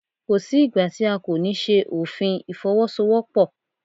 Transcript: Kò sí ìgbà tí a kò ní ṣe òfin Ìfọwọ́sowọ́pọ̀.